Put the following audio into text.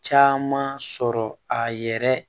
Caman sɔrɔ a yɛrɛ